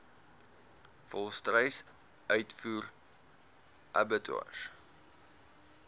volstruis uitvoer abattoirs